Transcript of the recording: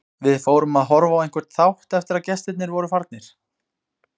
Við fórum að horfa á einhvern þátt eftir að gestirnir voru farnir.